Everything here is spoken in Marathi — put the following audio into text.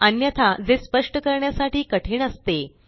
अन्यथा जे स्पष्ट करण्यासाठी कठीण असते